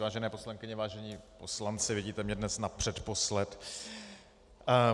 Vážené poslankyně, vážení poslanci, vidíte mě dnes napředposled.